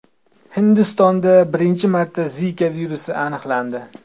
Hindistonda birinchi marta Zika virusi aniqlandi.